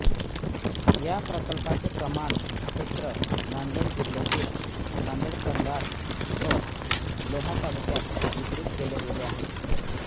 या प्रकल्पाचे कमांड क्षेत्र नांदेड जिल्ह्यातील नांदेड कंधार व लोहा तालुक्यात वितरित केले गेले आहे